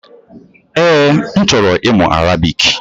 Ee, m ka chọrọ ịmụ Arabic